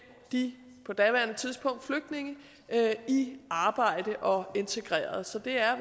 de på daværende tidspunkt flygtninge i arbejde og integreret så det er